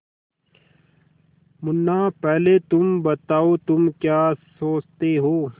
मुन्ना पहले तुम बताओ तुम क्या सोचते हो